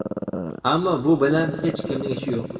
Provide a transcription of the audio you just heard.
ammo bu bilan hech kimning ishi yo‘q.